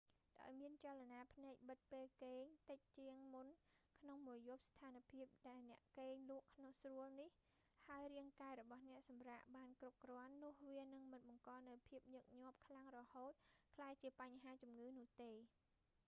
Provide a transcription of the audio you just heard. ដោយមានចលនាភ្នែកបិទពេលគេង rem តិចជាងមុនក្នុងមួយយប់ ស្ថានភាពដែលអ្នកគេងលក់ស្រួលនេះ ហើយរាងកាយរបស់អ្នកសម្រាកបានគ្រប់គ្រាន់ នោះវានឹងមិនបង្កនូវភាពញឹកញាប់ខ្លាំងរហូតក្លាយជាបញ្ហាជំងឺនោះទេ